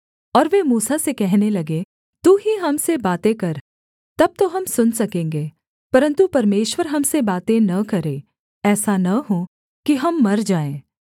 और वे मूसा से कहने लगे तू ही हम से बातें कर तब तो हम सुन सकेंगे परन्तु परमेश्वर हम से बातें न करे ऐसा न हो कि हम मर जाएँ